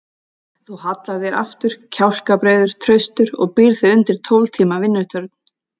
Þú hallar þér aftur, kjálkabreiður, traustur og býrð þig undir tólf tíma vinnutörn.